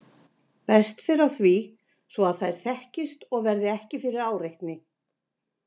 Best fer á því, svo að þær þekkist og verði ekki fyrir áreitni.